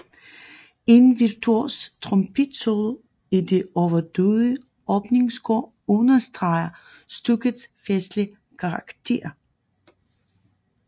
En virtuos trompetsolo i det overdådige åbningskor understreger stykkets festlige karakter